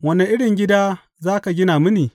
Wane irin gida za ka gina mini?